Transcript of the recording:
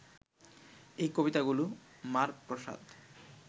এই কবিতাগুলি মার প্রসাদ